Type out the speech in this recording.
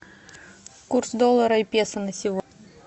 курс доллара и песо на сегодня